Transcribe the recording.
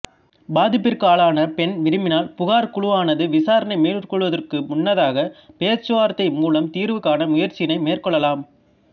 பாதிப்பிற்காளான பெண் விரும்பினால் புகார் குழுவானது விசாரணை மேற்கொள்வதற்கு முன்னதாக பேச்சுவார்த்தை மூலம் தீர்வு காண முயற்சியினை மேற்கொள்ளலாம்